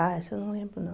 Ah, essa eu não lembro, não.